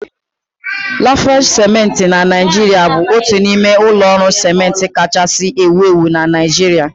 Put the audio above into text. Lafarge ciment Naijiria bụbu otu n'ime ụlọ ọrụ ciment kachasị ewu ewu na Naịjirịa